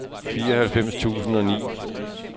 fireoghalvfems tusind og ni